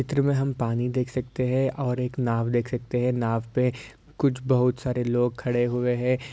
चित्र में हम पानी देख सकते हैं और एक नाव देख सकते हैं नाव पे कुछ बहुत सारे लोग खड़े हुए हैं।